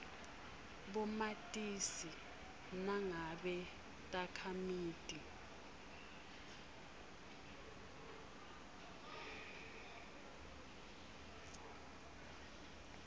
bomatisi nangabe takhamiti